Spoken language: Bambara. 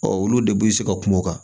olu de b'u se ka kuma o kan